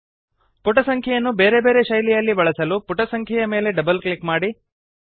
ಪುಟ ಸಂಖ್ಯೆಯನ್ನು ಬೇರೆ ಬೇರೆ ಶೈಲಿಯಲ್ಲಿ ಬಳಸಲು ಪುಟ ಸಂಖ್ಯೆಯ ಮೇಲೆ ಡಬಲ್ ಕ್ಲಿಕ್ ಮಾಡಿ